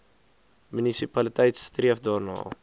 munisipaliteit streef daarna